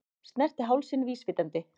Snerti hálsinn vísvitandi.